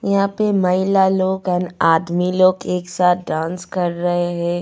यहां पे महिला लोग एंड आदमी लोग एक साथ डांस कर रहे हैं.